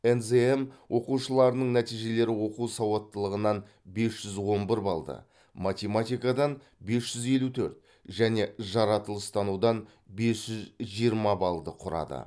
нзм оқушыларының нәтижелері оқу сауаттылығынан бес жүз он бір балды математикадан бес жүз елу төрт және жаратылыстанудан бес жүз жиырма балды құрады